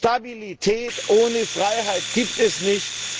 Stabilität ohne Freiheit gibt es nicht.